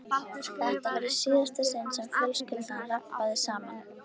Þetta var í síðasta sinn sem fjölskyldan rabbaði saman.